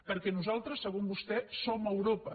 perquè nosaltres segons vostè som a europa